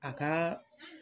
A ka